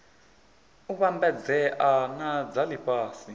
u vhambedzea na dza lifhasi